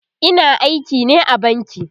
Ina aiki ne a banki